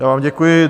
Já vám děkuji.